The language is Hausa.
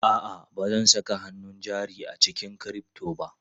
A'a, ba zan saka hannun jari a cikin crypto ba.